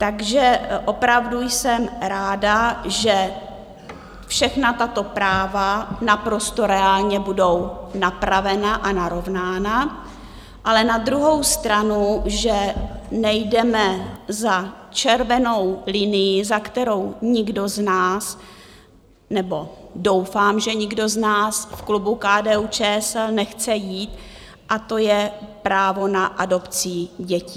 Takže opravdu jsem ráda, že všechna tato práva naprosto reálně budou napravena a narovnána, ale na druhou stranu že nejdeme za červenou linii, za kterou nikdo z nás - nebo doufám, že nikdo z nás - v klubu KDU-ČSL nechce jít, a to je právo na adopcí dětí.